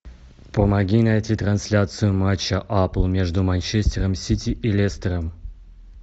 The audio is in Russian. помоги найти трансляцию матча апл между манчестером сити и лестером